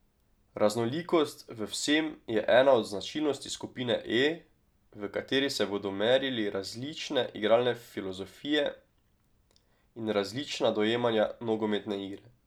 Raznolikost v vsem je ena od značilnosti skupine E, v kateri se bodo merili različne igralne filozofije in različna dojemanja nogometne igre.